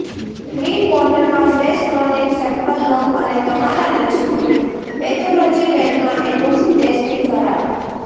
clean બોટલમાં fresh morning sample લો અને તમારા નજીકની પેથોલોજી લેબમાં એનું ટેસ્ટિંગ કરાવો